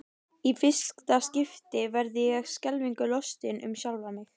Í fyrsta skipti verð ég skelfingu lostin um sjálfa mig.